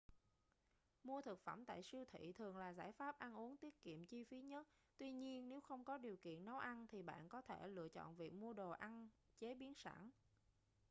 mua thực phẩm tại siêu thị thường là giải pháp ăn uống tiết kiệm chi phí nhất tuy nhiên nếu không có điều kiện nấu ăn thì bạn có thể lựa chọn việc mua đồ ăn chế biến sẵn